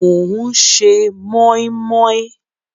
Mò ń ṣe mọ́í mọ́í